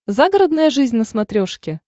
загородная жизнь на смотрешке